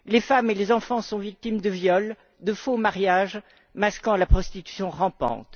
Les femmes et les enfants sont victimes de viols, de faux mariages, masquant la prostitution rampante.